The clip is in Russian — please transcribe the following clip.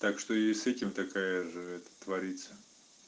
так что и с этим такая же это творится